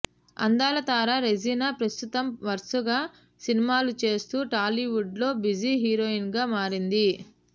అందాల తార రెజీనా ప్రస్తుతం వరుసగా సినిమాలు చేస్తూ టాలీవుడ్లో బిజీ హీరోయి న్గా మారింది